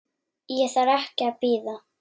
Ég þarf ekki að bíða.